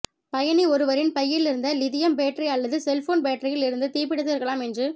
பயணி ஒருவரின் பையில் இருந்த லிதியம் பேட்டரி அல்லது செல்போன் பேட்டரியில் இருந்து தீப்பிடித்து இருக்கலாம் என்று